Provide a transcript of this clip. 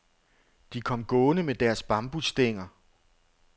De kom gående med deres bambusstænger.